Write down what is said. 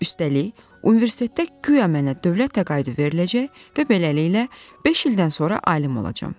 Üstəlik, universitetdə guya mənə dövlət təqaüdü veriləcək və beləliklə beş ildən sonra alim olacağam.